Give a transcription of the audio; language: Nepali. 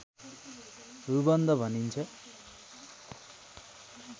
रुबन्ध भनिन्छ